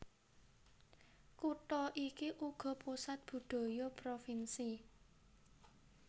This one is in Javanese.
Kutha iki uga pusat budaya provinsi